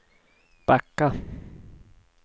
backa